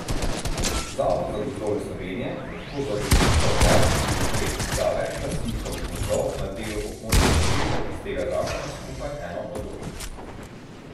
Zavod za gozdove Slovenije lahko za določitev varstvenih del izda več lastnikom gozdov na delu območja ukrepov iz tega zakona skupaj eno odločbo.